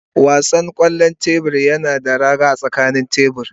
Wasan kwallon tebur yana da raga a tsakanin tebur.